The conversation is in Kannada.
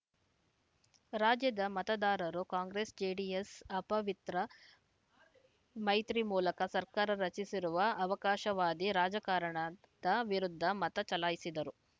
ರಾಜ್ಯದ ಮತದಾರರು ಕಾಂಗ್ರೆಸ್‌ಜೆಡಿಎಸ್‌ ಅಪವಿತ್ರ ಮೈತ್ರಿ ಮೂಲಕ ಸರ್ಕಾರ ರಚಿಸಿರುವ ಅವಕಾಶವಾದಿ ರಾಜಕಾರಣದ ವಿರುದ್ಧ ಮತ ಚಲಾಯಿಸಿದ್ದರು